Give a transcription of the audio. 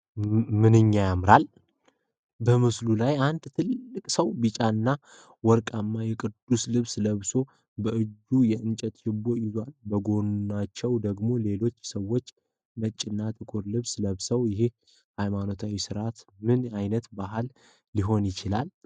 ምንኛ ያምራል! በምስሉ ላይ አንድ ትልቅ ሰው ቢጫና ወርቃማ የቅዱስ ልብስ ለብሰው በእጃቸው የእንጨት ችቦ ይዘዋል። በጎናቸው ደግሞ ሌሎች ሰዎች ነጭና ጥቁር ልብስ ለብሰዋል። ይህ የሃይማኖታዊ ሥነ-ሥርዓት ምን ዓይነት በዓል ሊሆን ይችላል?